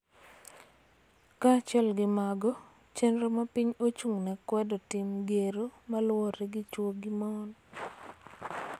Kaachiel gi mago, chenro ma piny ochung�ne kwedo tim gero ma luwore gi chwo gi mon